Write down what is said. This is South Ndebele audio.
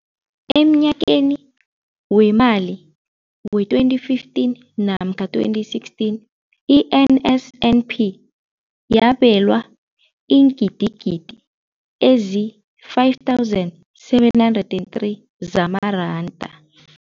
Emnyakeni weemali we-2015 namkha 2016, i-NSNP yabelwa iingidigidi ezi-5 703 zamaranda.